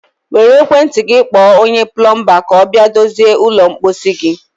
Were ekwentị gị kpọọ onye plọmbaa ka ọ bịa dozie ụlọ mposi gị.